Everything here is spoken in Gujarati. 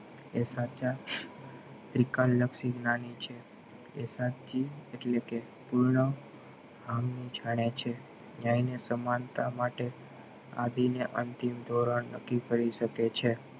એ સાચા વિકલ લક્ષી નાની છે એ સાચી એટલે કે પૂર્ણ જાણે છે ક્યાય ને સમાનતા માટે અડી ને અંતિમ ધોરણ નક્કી કરી શકે છે